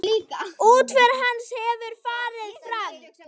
Útför hans hefur farið fram.